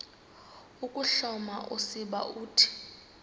ukuhloma usiba uthi